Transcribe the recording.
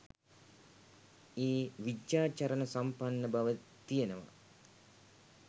ඒ විජ්ජාචරණ සම්පන්න බව තියෙනවා.